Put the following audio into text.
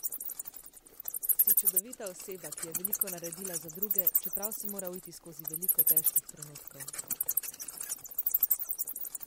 Si čudovita oseba, ki je veliko naredila za druge, čeprav si moral iti skozi veliko težkih trenutkov.